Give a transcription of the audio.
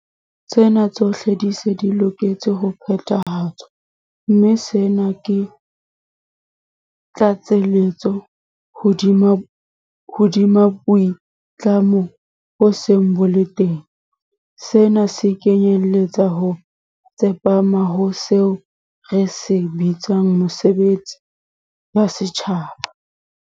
Tsena tsohle di se di loketse ho phethahatswa, mme sena ke tlatselletso hodima boitlamo bo seng bo le teng. Sena se kenyeletsa ho tsepama ho seo re se bitsang 'mesebetsi ya setjhaba'.